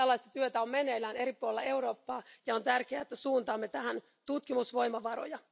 Tällaista työtä on meneillään eri puolilla Eurooppaa ja on tärkeää, että suuntaamme tähän tutkimusvoimavaroja.